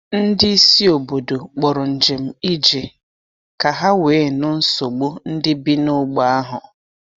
Ndị isi obodo kpọrọ njem ije ka ha wee nụ nsogbu ndị bi n’ógbè ahụ.